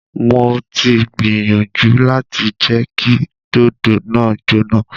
Mo ti gbiyanju lati jẹ ki dodo naa jona.